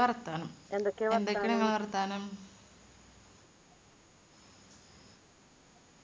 വർത്താനം വർത്താനം